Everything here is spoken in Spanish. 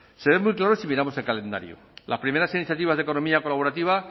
se ve muy claro si miramos el calendario las primeras iniciativas de economía colaborativa